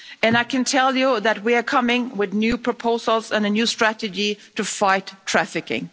I can tell you that we are coming forward with new proposals and a new strategy to fight trafficking.